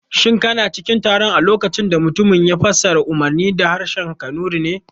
Shin kana cikin taron a lokacin da mutumin ya fassara umarnin da harshen kanuri ne?